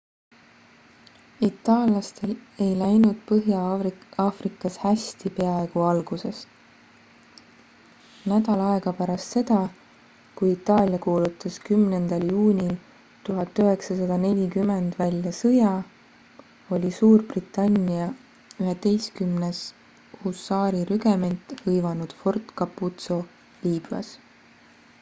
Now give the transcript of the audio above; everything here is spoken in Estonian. itallaastel ei läinud põhja-aafrikas hästi peaaegu algusest nädal aega pärast seda kui itaalia kuulutas 10 juunil 1940 välja sõja oli suurbritannia 11 husaarirügement hõivanud fort capuzzo liibüas